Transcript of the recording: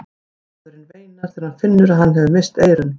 Maðurinn veinar þegar hann finnur að hann hefur misst eyrun.